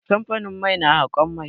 Kamfanin mai na haƙon mai.